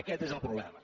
aquest és el problema